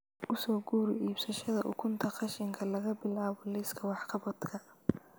U soo guuri iibsashada ukunta qashinka qashinka laga bilaabo liiska wax-qabadka